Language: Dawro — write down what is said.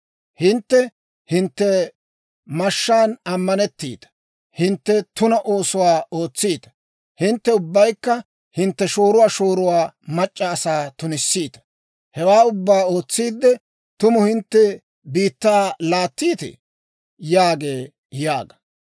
Hintte hintte mashshaan ammanettiita; hintte tuna oosuwaa ootsiita; hintte ubbaykka hintte shooruwaa shooruwaa mac'c'a asaa tunissiita. Hewaa ubbaa ootsiidde, tumu hintte biittaa laattiitee?» yaagee› yaaga.